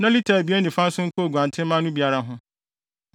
na lita abien ne fa nso nka nguantenmma no biara ho.